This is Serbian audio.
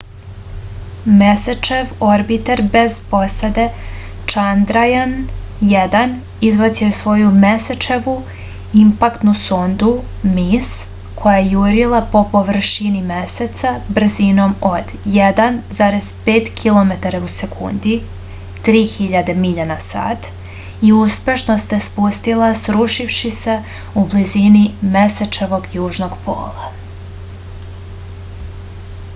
месечев орбитер без посаде чандрајан-1 избацио је своју месечеву импактну сонду mис која је јурила по површини месеца брзином од 1,5 километара у секунди 3000 миља на сат и успешно се спустила срушивши се у близини месечевог јужног пола